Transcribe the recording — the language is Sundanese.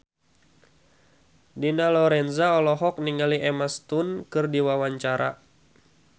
Dina Lorenza olohok ningali Emma Stone keur diwawancara